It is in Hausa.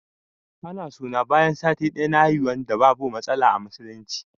Ana sunna bayan sati daya na haihuwan da babu matsala a musulunci.